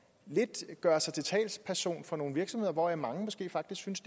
lidt at gøre sig til talsperson for nogle virksomheder hvoraf mange måske faktisk synes